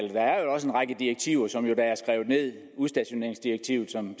også en række direktiver som er skrevet ned for udstationeringsdirektivet som